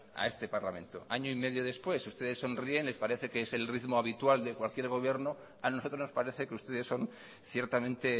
a este parlamento año y medio después ustedes sonríen les parece que es el ritmo habitual de cualquier gobierno a nosotros nos parece que ustedes son ciertamente